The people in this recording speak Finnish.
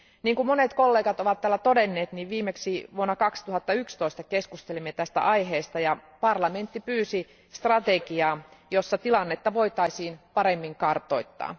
Kuten monet kollegat ovat täällä todenneet, niin viimeksi vuonna 2011 keskustelimme tästä aiheesta ja parlamentti pyysi strategiaa, jossa tilannetta voitaisiin paremmin kartoittaa.